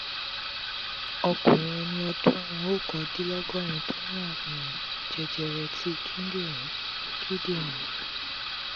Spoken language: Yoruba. ọ́kùnrin eni ọdún okandinlogorin to ní àrùn jẹjẹrẹ ti kindinrin kindinrin